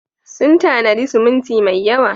Sun tanadi siminti mai yawa.